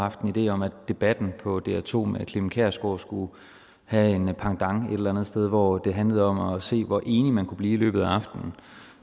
haft en idé om at debatten på dr2 med clement kjersgaard skulle have en pendant et eller andet sted hvor det handlede om at se hvor enige man kunne blive i løbet af aftenen